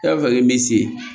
E b'a fɛ k'i mi se